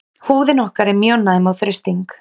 Húðin okkar er mjög næm á þrýsting.